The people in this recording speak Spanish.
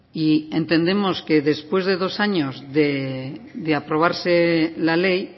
y entendemos que después de dos años de aprobarse la ley